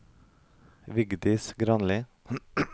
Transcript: Vigdis Granli